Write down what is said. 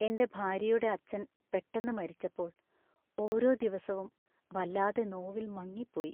എന്‍റെ ഭാര്യയുടെ അച്ഛൻ പെട്ടെന്ന് മരിച്ചപ്പോൾ ഓരോ ദിവസവും വല്ലാതെ നോവില്‍ മങ്ങിപ്പോയി.